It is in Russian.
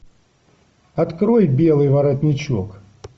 открой белый воротничок